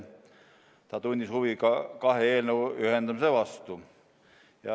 Ta tundis huvi kahe eelnõu ühendamise vastu.